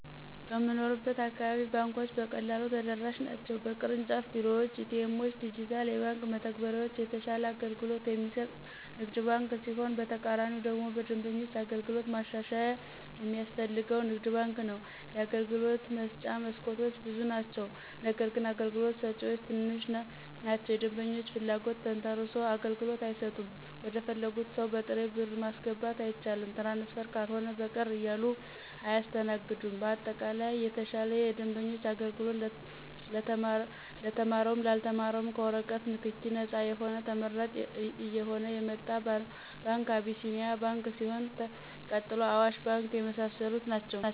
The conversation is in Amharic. በምንኖርበት አካባቢ ባንኮች በቀላሉ ተደራሽ ናቸው በቅርንጫፍ ቤሮዎች :ኤቲኤሞችና ዲጅታል የባንክ መተግበሪያዎች የተሻለ አገልግሎት የሚሰጥ ንግድ ባንክ ሲሆን በተቃራኒው ደግሞ በደንበኞች አገልግሎት ማሻሻያ የሚያስፈልገው ንግድ ባንክ ነው የአገልግሎት መስጫ መስኮቶች ብዙ ናቸው ነገርግን አገልግሎት ሰጭዎች ትንሽ ናቸው የደንበኞችን ፍለጎት ተንተሰርሶ አገልግሎት አይሰጡም ወደፈለጉት ሰው በጥሬ ብር ማስገባት አይቻልም ትራንስፈር ካልሆነ በቀር እያሉ አያሰተናግዱም በአጠቃላይ የተሻለ የደንበኞች አገልግሎት ለተማረውም ላልተማረውም ከወረቀት ነክኪ ነጻ የሆነ ተመራጭ እየሆነ የመጣ ባንክ አቢሴኒያ ባንክ ሲሆን ቀጥሎ አዋሽ ባንክ የመሳሰሉት ናቸው።